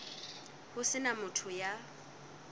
ho se na motho ya